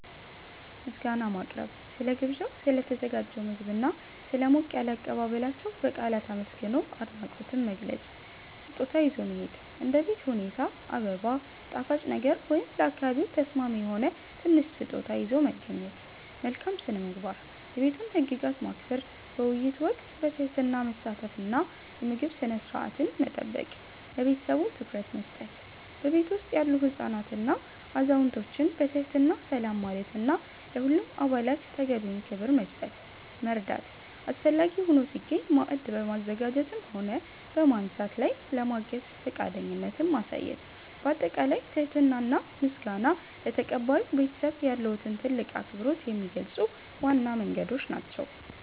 ምስጋና ማቅረብ፦ ስለ ግብዣው፣ ስለ ተዘጋጀው ምግብና ስለ ሞቅ ያለ አቀባበላቸው በቃላት አመስግኖ አድናቆትን መግለጽ። ስጦታ ይዞ መሄድ፦ እንደ ቤት ሁኔታ አበባ፣ ጣፋጭ ነገር ወይም ለአካባቢው ተስማሚ የሆነ ትንሽ ስጦታ ይዞ መገኘት። መልካም ስነ-ምግባር፦ የቤቱን ህግጋት ማክበር፣ በውይይት ወቅት በትህትና መሳተፍ እና የምግብ ስነ-ስርዓትን መጠበቅ። ለቤተሰቡ ትኩረት መስጠት፦ በቤቱ ውስጥ ያሉ ህፃናትንና አዛውንቶችን በትህትና ሰላም ማለትና ለሁሉም አባላት ተገቢውን ክብር መስጠት። መርዳት፦ አስፈላጊ ሆኖ ሲገኝ ማዕድ በማዘጋጀትም ሆነ በማንሳት ላይ ለማገዝ ፈቃደኝነትን ማሳየት። ባጠቃላይ ትህትና እና ምስጋና ለተቀባዩ ቤተሰብ ያለዎትን ትልቅ አክብሮት የሚገልጹ ዋና መንገዶች ናቸው።